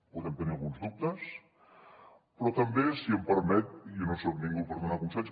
podem tenir alguns dubtes però també si m’ho permet i jo no soc ningú per donar consells